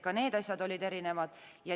Ka need asjad olid erinevad.